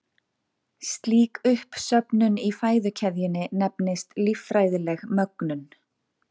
slík uppsöfnun í fæðukeðjunni nefnist líffræðileg mögnun